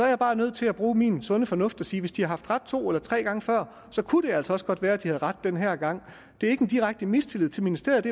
jeg bare nødt til at bruge min sunde fornuft og sige at hvis de har haft ret to eller tre gange før så kunne det altså også godt være at de havde ret den her gang det er ikke en direkte mistillid til ministeriet